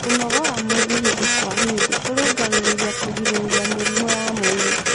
Kunoggora mwĩrĩ hĩndĩ kwa hĩndĩ kurungirirĩa kũgirĩrĩrĩa mĩrimũ ya mwĩrĩ